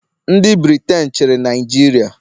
ndị Briten chịrị Naijiria.